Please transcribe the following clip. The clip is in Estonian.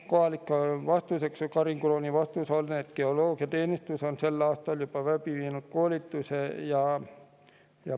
Karin Krooni vastus oli, et geoloogiateenistus on sellel aastal teinud juba koolituse.